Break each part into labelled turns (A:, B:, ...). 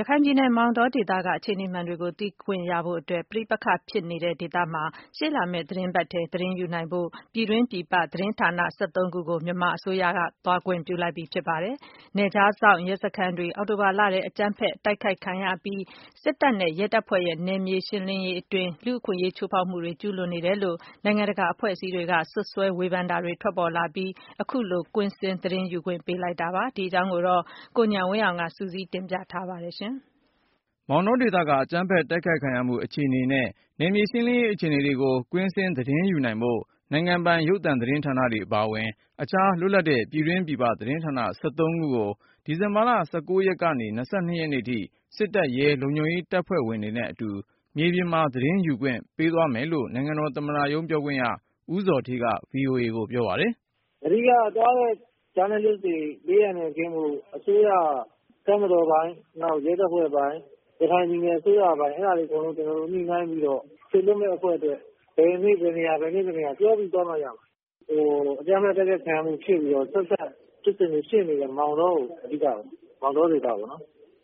A: ရခိုင်ပြည်နယ် မောင်တောဒေသက အခြေနေမှန်တွေကို သိခွင့်ရဖို့အတွက် ပဋိပက္ခဖြစ်နေတဲ့ဒေသမှာ ရှေ့လာမယ့်အပတ်ထဲ သတင်း ယူနိုင်ဖို့ ပြည်တွင်း ပြည်ပ သတင်းဌာန ခုကို မြန်မာအစိုးရက သွားခွင့်ပြုလိုက်ပြီဖြစ်ပါတယ်။ နယ်ခြားစောင့် ရဲစခန်းတွေ အောက်တိုဘာလထဲ အကြမ်းဖက် တိုက်ခိုက်ခံရအပြီး စစ်တပ်နဲ့ ရဲတပ်ဖွဲ့ရဲ့ နယ်မြေရှင်းလင်းရေးအတွင်း လူ့အခွင့်အရေးချိုးဖေါက်မှုတွေ ကျူးလွန်နေတယ်လို့ နိုင်ငံတကာအဖွဲ့အစည်းတွေက စွပ်စွဲဝေဖန်တာတွေ ထွက်ပေါ်လာအပြီး ခုလိုကွင်းဆင်း သတင်းယူခွင့် ပေး လိုက်တာဖြစ်ပါတယ်။ ဒီအကြောင်း ကိုဉာဏ်ဝင်းအောင် စုစည်းတင်ပြထားပါတယ်။ မောင်တောဒေသက အကြမ်းဖက်တိုက်ခိုက်ခံရမှု အခြေအနေနဲ့ နယ်မြေရှင်းလင်းရေး အခြေနေတွေကို ကွင်းဆင်း သတင်းယူနိုင်ဖို့ နိုင်ငံပိုင် ရုပ်သံ သတင်းဌာနတွေ အပါအဝင် အခြား လွတ်လပ်တဲ့ ပြည်တွင်း ပြည်ပသတင်းဌာန ခုကို ဒီဇင်ဘာ ၁၉ ရက်ကနေ ၂၂ ရက်နေ့ထိ စစ်တပ်၊ ရဲ လုံခြုံရေးတပ်ဖွဲ့တွေနဲ့ အတူ မြေပြင်မှာ သတင်းယူခွင့် ပေးသွားမယ်လို့ နိုင်ငံတော် သမ္မတရုံး ပြောခွင့်ရ ဦးဇော်ဌေးက VOA ကို ပြောပါတယ်
B: ။ " အဓိကက သွားတဲ့ ဂျာနယ်လစ်တွေ ဘေးအန္တရာယ်ကင်းဖို့ အစိုးရက တပ်မတော်ပိုင်း၊ ရဲတပ်ဖွဲ့ပိုင်း ၊ ရခိုင်ပြည်နယ် အစိုးရပိုင်း အဲ့တာတွေ အကုန်လုံး ညှိနှိုင်းပြီးတော့ စေလွှတ်မယ့်အဖွဲ့အတွက် ဘယ်နေ့ ဘယ်နေရာ၊ ဘယ်နေ့ ဘယ်နေရာ ခွဲပြီး သွားကြမှာ။ အကြမ်းဖက်တိုက်ခိုက်ခံရမှုဖြစ်ပြီးတော့ အကြမ်းဖက်ဖြစ်စဉ်တွေ ဖြစ်နေတဲ့ မောင်တောကို အဓိကပေါ့နော်။ မောင်တောဒေသပေါ့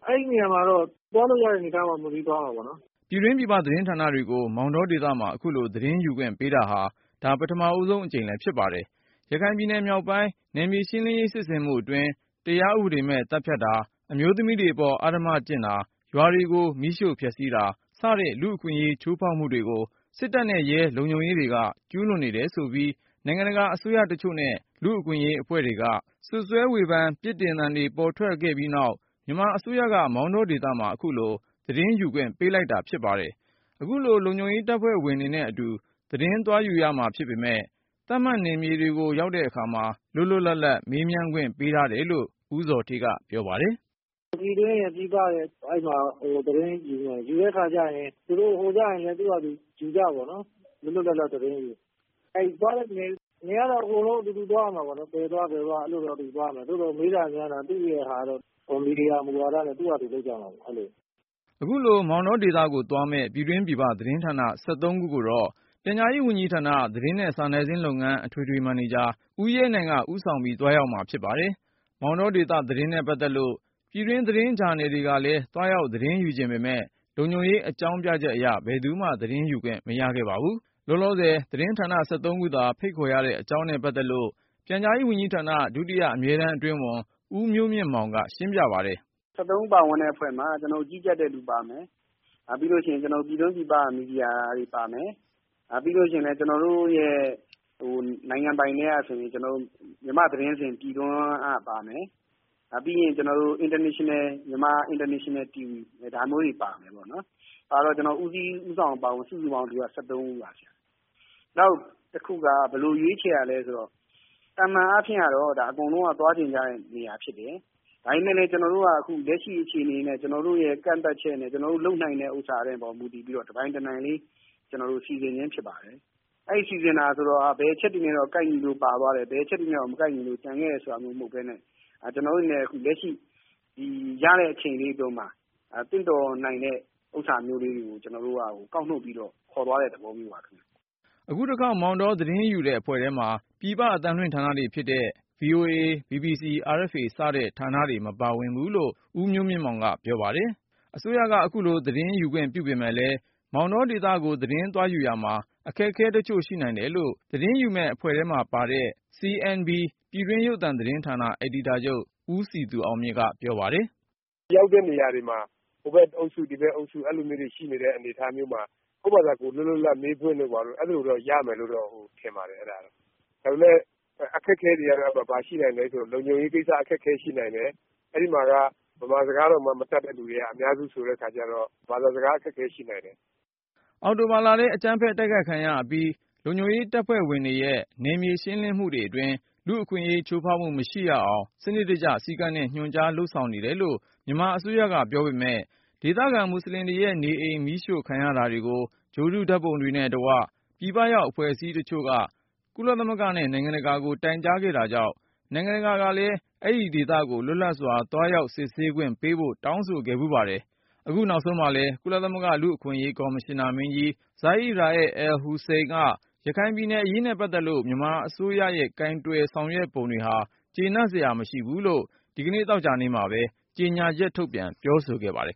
B: အဲ့ဒီ့နေရာမှာတော့ သွားလို့ရတဲ့အနေအထားပေါ် မူတည်ပြီး သွားမှာပေါ့နော်
A: ။" ပြည်တွင်း ပြည်ပသတင်းဌာနတွေကို မောင်တောဒေသမှာ အခုလို သတင်းယူခွင့်ပေး တာဟာ ဒါ ပထမဦးဆုံးအကြိမ်လည်း ဖြစ်ပါတယ်။ ရခိုင် ပြည်နယ်မြောက်ပိုင်း နယ်မြေရှင်းလင်းရေး စစ်ဆင်မှုအတွင်း တရားဥပဒေမဲ့ သတ်ဖြတ်တာ၊ အမျိုးသမီးတွေပေါ် အဓမ္မကျင့်တာ၊ ရွာတွေကို မီးရှို့ဖျက်ဆီးတာ - စတဲ့ လူ့အခွင့်အရေး ချိုးဖေါက်မှုတွေကို စစ်တပ်နဲ့ ရဲလုံခြုံရေးတွေက ကျူးလွန်နေတယ် ဆိုပြီး နိုင်ငံတကာ အစိုးရတချို့နဲ့ လူ့အခွင့်အရေးအဖွဲ့တွေက စွပ်စွဲဝေဖန်ပြစ်တင်သံတွေ ပေါ်ထွက်ခဲ့ပြီးနောက်၊ မြန်မာအစိုးရက မောင်တောဒေသမှာ အခုလို သတင်းယူခွင့် ပေးလိုက်တာပဲ ဖြစ်ပါတယ်။ အခုလို လုံခြုံရေးတပ်ဖွဲ့တွေနဲ့အတူ သတင်းသွားယူရမှာဖြစ်ပေမယ့် သတ်မှတ်နယ်မြေတွေကို ရောက်တဲ့အခါမှာ လွတ်လွတ် လပ်လပ် မေးမြန်းခွင့်ပေးထားတယ်လို့ ဦးဇော်ဌေးက ပြောပါတယ်။
B: " ပြည်တွင်းရယ် ပြည်ပရယ် အဲ့ဒီ့မှာ သတင်းယူမယ် ယူတဲ့အခါ ကျရင် ဟိုကျရင် သူတို့ ယူတဲ့အခါကျရင်လည်း ယူကြပေါ့နော်။ လွတ်လွတ်လပ်လပ် သတင်းယူပေါ့။ နေရာကတော့ အကုန်လုံး အတူတူသွားကြရမှာ။ ဘယ်သွား ဘယ်သွား အကုန်လုံး အတူတူသွားရမယ်။ သို့သော် မေးတာ မြန်းတာ ကတော့ မီဒီယာ မူဝါဒနဲ့ သူ့ဘာသာ သူ လုပ်ကြမှာပေါ့။ အဲ့လို
A: ။" အခု မောင်တောဒေသကိုသွားမယ့် ပြည်တွင်းပြည်ပသတင်းဌာန ခုကို တော့ ပြန်ကြားရေးဝန်ကြီးဌာန သတင်းနဲ့စာနယ်ဇင်းလုပ်ငန်း အထွေထွေ မန်နေဂျာ ဦးရဲနိုင် ဦးဆောင်ပြီး သွားရောက် မှာဖြစ်ပါတယ်။ မောင်တောဒေသ သတင်းနဲ့ပတ်သက်လို့ ပြည်တွင်းသတင်းစာ ဂျာနယ် တွေကလည်း သွားရောက် သတင်းယူချင်ပေမယ့် လုံခြုံရေးအကြောင်းပြချက်အရ ဘယ်သူမှ သတင်းယူခွင့် မရခဲ့ပါဘူး။ လောလောဆယ် သတင်းဌာန ခုသာ ဖိတ်ခေါ်ရတဲ့ အကြောင်းနဲ့ ပတ်သက်လို့ ပြန်ကြားရေးဝန်ကြီးဌာန ဒုတိယအမြဲတမ်းအတွင်းဝန် ဦးမျိုးမြင့်မောင်က ရှင်းပြပါတယ်
C: ။ အဖွဲ့မှာ ကြီးကြပ်တဲ့သူပါမယ်။ နောက်ပြီးရင် ပြည်တွင်း ပြည်ပ မီဒီယာတွေပါမယ်။ နိုင်ငံပိုင်ထဲကဆိုရင် မြန်မာ့သတင်းစဉ် ပြည်တွင်း ကပါမယ်။ နိုင်ငံတကာ Myanmar International TV ဒါမျိုးတွေ ပါမယ်ပေါ့နော်။ ဆိုတော့ ဦးစီးဦးဆောင်အပါအဝင် စုစုပေါင်း ဦးပါ။ နောက်တခုက ဘယ်လိုရွေးချယ်တာလဲဆိုတော့ သာမာန်အားဖြင့်ကတော့ အကုန်လုံးက သွားချင်ကြတဲ့နေရာဖြစ်တယ်။ ဒါပေမဲ့လည်း ကျနော်တို့က လက်ရှိအခြေအနေနဲ့ ကျနော်တို့ရဲ့ ကန့်သတ်ချက်နဲ့ လုပ်နိုင်တဲ့ဟာအပေါ် မူတည်ပြီးတော့ တနိုင်တပိုင် စီစဉ်ခြင်းဖြစ်ပါတယ်။ အဲ့ဒီ့လို စီစဉ်တာဆိုတော့ ဘယ်အချက်တွေနဲ့ကိုက်ညီလို့ ပါသွားတယ်။ ဘယ်အချက်တွေနဲ့ မကိုက်ညီလို့ ကျန်ခဲ့တယ်ဆိုတာမျိုး မဟုတ်ပဲနဲ့ ကျနော်တို့အနေနဲ့ လက်ရှိ ရတဲ့အချိန်လေးအတွင်းမှာ သင့်တော်နိုင်မယ့် ဥစ္စာမျိုးလေးတွေကို ကောက်နှုတ်ပြီးတော့ ခေါ်သွားတဲ့သဘောမျိုးပါခင်ဗျ။
A: " အခုတခေါက် မောင်တောသတင်းယူတဲ့အဖွဲ့ထဲမှာ ပြည်ပအသံလွှင့်ဌာနတွေဖြစ်တဲ့ VOA၊ BBC၊ RFA စတဲ့ဌာနတွေ မပါဝင်ဘူးလို့ ဦးမျိုးမြင့် မောင်က ပြောပါတယ်။ အစိုးရက အခုလိုမောင်တောဒေသကို သတင်းယူခွင့်ပြုပေမယ့်လည်း သတင်း သွားယူရာမှာ အခက်အခဲတချို့ ရှိနိုင် တယ်လို့ သတင်းယူမယ့်အဖွဲ့ထဲမှာပါတဲ့ CNB (Central News Bureau) ပြည်တွင်းရုပ်သံသတင်းဌာန အယ်ဒီတာချုပ် ဦးစည်သူအောင်မြင့်က ပြောပါတယ်။
C: " ရောက်တဲ့နေရာတွေမှာ ဟိုဘက်အုပ်စု၊ ဒီဘက်အုပ်စု မျိုးတွေရှိနေတဲ့ အနေအထားမျိုးတွေမှာ ကိုယ့်ဘာသာ ကိုယ် လွတ်လွတ်လပ်လပ် မေးခွင့်တော့ ရမယ်လို့တော့ ထင်ပါတယ်။ ဒါပေမဲ့ အခက်အခဲတွေကတော့ ဘာရှိနိုင်မလဲ ဆိုရင်တော့ လုံခြုံရေးကိစ္စ အခက်အခဲရှိနိုင်တယ် အဲ့ဒီ့မှာက ဗမာစကားတောင် မတတ်တဲ့သူတွေ အများစု ဆိုတဲ့ အခါကျတော့ ဘာသာစကား အခက်အခဲရှိနိုင်တယ်
A: ။ " အောက်တိုဘာလထဲ အကြမ်းဖက်တိုက်ခိုက်ခံရအပြီး လုံခြုံရေးတပ်ဖွဲ့ရဲ့ နယ်မြေရှင်းလင်းမှုအတွင်း လူ့အခွင့်ရေးချိုးဖေါက်မှု မရှိရအောင် စနစ်တကျ စည်းကမ်းနဲ့ ညွှန်ကြားလုပ်ဆောင်နေတယ် လို့ မြန်မာအစိုးရက ပြောပေ မယ့်၊ ဒေသခံမွတ်ဆလင်တွေရဲ့နေအိမ် မီးရှို့ခံရတာ တွေကို ဂြိုလ်တု ဓါတ်ပုံတွေနဲ့တကွ ပြည်ပရောက် အဖွဲ့အစည်းတချို့က ကုလသမဂ္ဂနဲ့နိုင်ငံတကာကို တိုင်ကြားခဲ့တာကြောင့် နိုင်ငံတကာ ကလည်း အဲဒီဒေသကို လွတ်လပ်စွာ သွားရောက်စစ်ဆေးခွင့်ပေးဖို့ တောင်းဆိုခဲ့ဖူးပါတယ်။ အခုနောက်ဆုံးမှာလည်း ကုလသမဂ္ဂလူ့အခွင့်အရေး ကော်မရှင်နာမင်းကြီး Zeid Ra’ad Al Hussein က ရခိုင်ပြည်နယ်အရေးနဲ့ပတ်သက်လို့ မြန်မာအစိုးရရဲ့ ကိုင်တွယ်ဆောင်ရွက်ပုံတွေဟာ ကျေနပ် အားရစရာမရှိဘူးလို့ ဒီနေ့ သောကြာနေ့မှာပဲ ကြေညာချက်ထုတ်ပြန် ပြောဆိုခဲ့ ပါတယ်